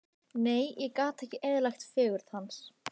Nei, ég gat ekki eyðilagt fegurð hans.